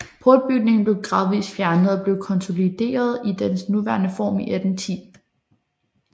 Portbygningen blev gradvist fjernet og blev konsolideret i dens nuværende form i 1810